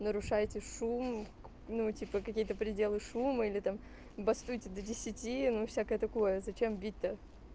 нарушаете шум ну типа какие-то пределы шума или там бастуйте до десяти ну всякое такое зачем бить то